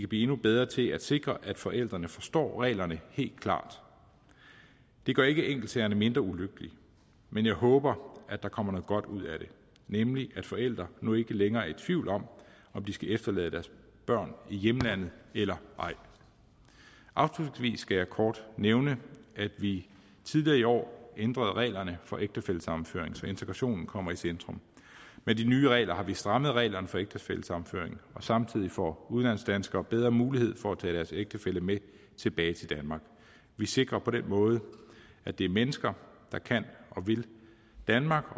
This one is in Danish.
blive endnu bedre til at sikre at forældrene forstår reglerne helt klart det gør ikke enkeltsagerne mindre ulykkelige men jeg håber at der kommer noget godt ud af det nemlig at forældre nu ikke længere er i tvivl om om de skal efterlade deres børn i hjemlandet eller ej afslutningsvis skal jeg kort nævne at vi tidligere i år ændrede reglerne for ægtefællesammenføring så integrationen kommer i centrum med de nye regler har vi strammet reglerne for ægtefællesammenføring og samtidig får udenlandsdanskere bedre mulighed for at tage deres ægtefælle med tilbage til danmark vi sikrer på den måde at det er mennesker der kan og vil danmark